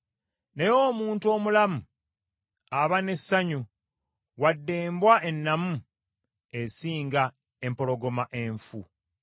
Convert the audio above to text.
Naye omuntu omulamu aba n’essuubi, wadde embwa ennamu esinga empologoma enfu!